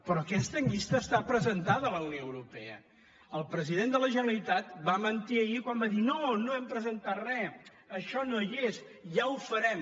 però aquesta llista està presentada a la unió europea el president de la generalitat va mentir ahir quan va dir no no hem presentat re això no hi és ja ho farem